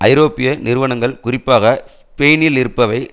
ஐரோப்பிய நிறுவனங்கள் குறிப்பாக ஸ்பெயினிலிருப்பவை